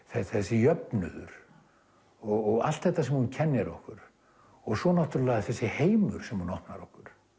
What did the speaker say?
þessi jöfnuður og allt þetta sem hún kennir okkur og þessi heimur sem hún opnar okkur